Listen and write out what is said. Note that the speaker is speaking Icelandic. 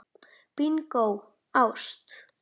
Bingó: ást.